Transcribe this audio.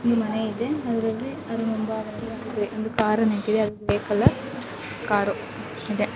ಒಂದು ಮನೆ ಇದೆ ಅದರಲ್ಲಿ ಅದರ ಮುಂಬಾಗದಲ್ಲಿ ಕಾರು ನಿಂತಿದೆ ಅದು ಗ್ರೇ ಕಲರ್ ಕಾರು ಇದೆ .